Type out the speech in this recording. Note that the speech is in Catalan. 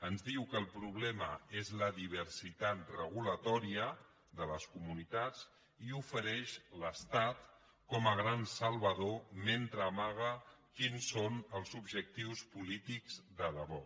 ens diu que el problema és la diversitat reguladora de les comunitats i ofereix l’estat com a gran salvador mentre amaga quins són els objectius polítics de debò